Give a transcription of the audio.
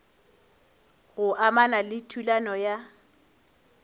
go amana le thulano ya